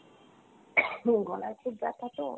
Coughing গলায় খুব ব্যথা তো